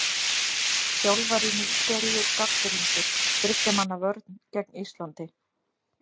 Þjálfari Nígeríu gagnrýndur- Þriggja manna vörn gegn Íslandi?